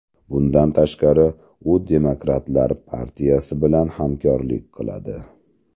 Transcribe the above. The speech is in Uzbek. Bundan tashqari, u Demokratlar partiyasi bilan hamkorlik qiladi.